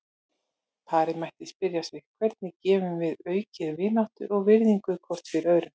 Parið mætti spyrja sig: Hvernig getum við aukið vináttu og virðingu hvort fyrir öðru?